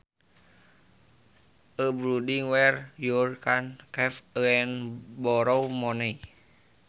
A building where you can keep and borrow money